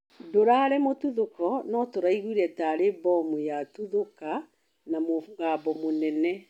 Ndũrarĩ mũtuthũko no tũraigwire tarĩ bomu yatuthũka na mũgambo mũnene